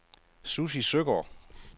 Sussi Søgaard